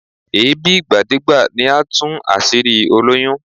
Èébí ìgbàdégbà ni á tún àṣírí olóyún